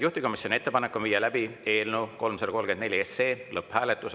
Juhtivkomisjoni ettepanek on viia läbi eelnõu 334 lõpphääletus.